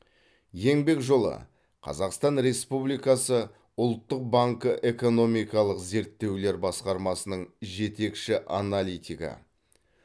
еңбек жолы қазақстан республикасы ұлттық банкі экономикалық зерттеулер басқармасының жетекші аналитигі